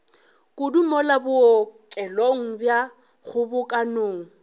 kudu mola bookelong bja kgobokanang